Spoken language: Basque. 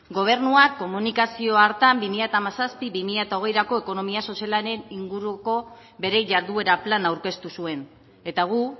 gobernuak komunikazio hartan bi mila hamazazpi bi mila hogeirako ekonomia sozialaren inguruko bere jarduera plana aurkeztu zuen eta gu